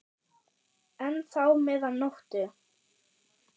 enn þá meðan nóttu